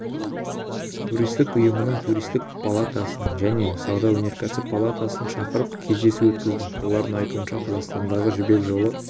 туристік ұйымын туристік палатасын және сауда-өнеркәсіп палатасын шақырып кездесу өткіздім олардың айтуынша қазақстандағы жібек жолы